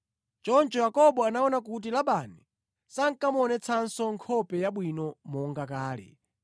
Choncho Yakobo anaona kuti Labani sankamuonetsanso nkhope yabwino monga kale.